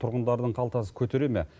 тұрғындардың қалтасы көтере ме